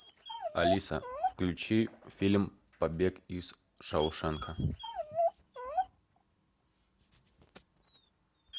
алиса включи фильм побег из шоушенка